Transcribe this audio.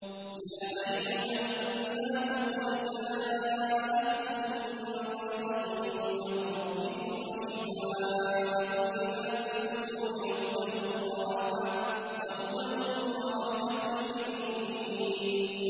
يَا أَيُّهَا النَّاسُ قَدْ جَاءَتْكُم مَّوْعِظَةٌ مِّن رَّبِّكُمْ وَشِفَاءٌ لِّمَا فِي الصُّدُورِ وَهُدًى وَرَحْمَةٌ لِّلْمُؤْمِنِينَ